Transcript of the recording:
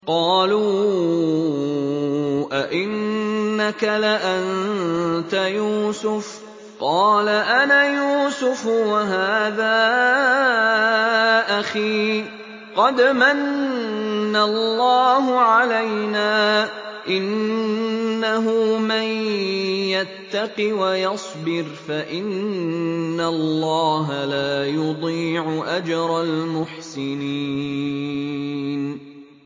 قَالُوا أَإِنَّكَ لَأَنتَ يُوسُفُ ۖ قَالَ أَنَا يُوسُفُ وَهَٰذَا أَخِي ۖ قَدْ مَنَّ اللَّهُ عَلَيْنَا ۖ إِنَّهُ مَن يَتَّقِ وَيَصْبِرْ فَإِنَّ اللَّهَ لَا يُضِيعُ أَجْرَ الْمُحْسِنِينَ